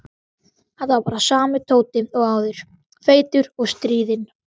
Þetta var bara sami Tóti og áður, feitur og stríðinn.